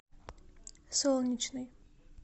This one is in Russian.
солнечный